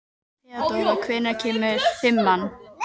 Það hefði mátt vera einhver önnur, til dæmis Guðrún.